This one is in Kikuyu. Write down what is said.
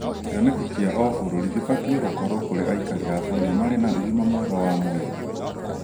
kĩoneki kĩa o bũrũrĩ gĩbatiĩ gũkorwo kũrĩ aikari a bũrũri marĩ na ũgima mwega wa mwĩrĩ